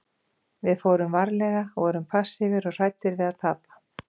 Við fórum varlega, vorum passífir og hræddir við að tapa.